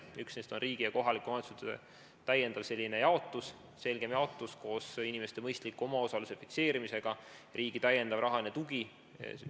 Üks neist on riigi ja kohaliku omavalitsuse osa täiendav, selgem jaotus koos inimeste mõistliku omaosaluse fikseerimisega, riigi täiendav rahaline tugi.